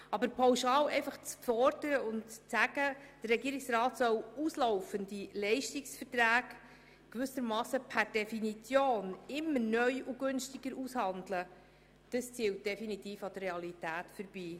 Aber pauschal zu fordern, der Regierungsrat solle auslaufende Leistungsverträge «per Definition» immer neu und günstiger aushandeln, zielt definitiv an der Realität vorbei.